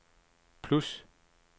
plus